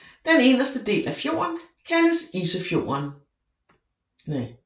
Den inderste del af fjorden kaldes Isfjorden